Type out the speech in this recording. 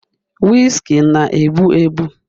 Whiskey na-egbu egbu